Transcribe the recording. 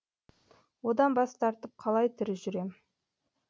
одан бас тартып қалай тірі жүрем